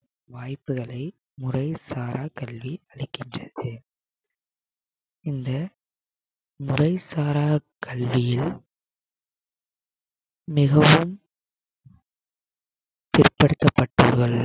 வாய்ப்புகளை முறைசாரா கல்வி அளிக்கின்றது இந்த முறைசாரா கல்வியியல் மிகவும் பிற்படுத்தப்பட்டோர்கள்